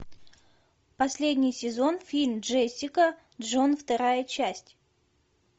последний сезон фильм джессика джон вторая часть